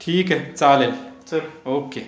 ठीक आहे. चालेल चल. ओके.